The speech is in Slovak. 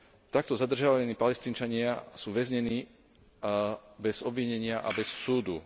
Takto zadržiavaní Palestínčania sú väznení bez obvinenia a bez súdu.